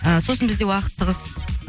ы сосын бізде уақыт тығыз